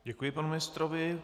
Děkuji panu ministrovi.